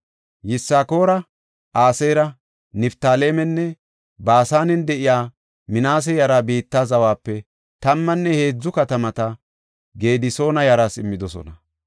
Yisakoora, Aseera, Niftaalemenne Baasanen de7iya Minaase yaraa biitta zawape tammanne heedzu katamata Gedisoona yaraas immidosona.